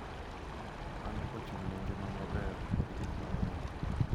Mano ochung’ ne ngima maber kod gik mang’eny,